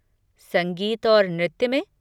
संगीत और नृत्य में?